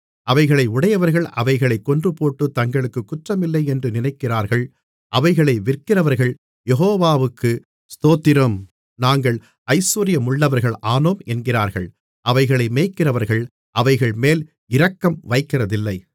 அவைகளை உடையவர்கள் அவைகளைக் கொன்றுபோட்டுத் தங்களுக்குக் குற்றமில்லையென்று நினைக்கிறார்கள் அவைகளை விற்கிறவர்கள் யெகோவாவுக்கு ஸ்தோத்திரம் நாங்கள் ஐசுவரியமுள்ளவர்கள் ஆனோம் என்கிறார்கள் அவைகளை மேய்க்கிறவர்கள் அவைகள்மேல் இரக்கம் வைக்கிறதில்லை